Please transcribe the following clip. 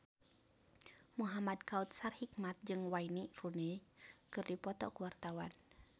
Muhamad Kautsar Hikmat jeung Wayne Rooney keur dipoto ku wartawan